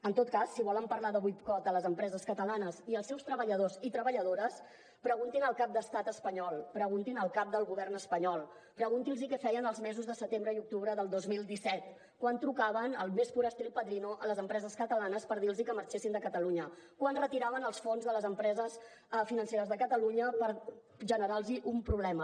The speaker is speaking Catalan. en tot cas si volen parlar de boicot a les empreses catalanes i als seus treballadors i treballadores preguntin al cap d’estat espanyol preguntin al cap del govern espanyol preguntin los què feien els mesos de setembre i octubre de dos mil disset quan trucaven al més pur estil padrino a les empreses catalanes per dir los que marxessin de catalunya quan retiraven els fons de les empreses financeres de catalunya per generar los un problema